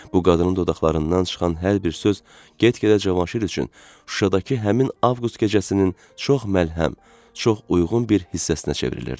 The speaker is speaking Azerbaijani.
Bu qadının dodaqlarından çıxan hər bir söz get-gedə Cavanşir üçün Şuşadakı həmin avqust gecəsinin çox məlhəm, çox uyğun bir hissəsinə çevrilirdi.